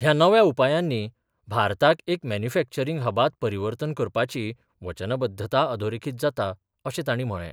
ह्या नव्या उपायानी भारताक एक मॅन्युफॅक्चरिंग हबात परिवर्तन करपाची वचनबध्दता अधोरेखित जाता, अशे ताणी म्हळे.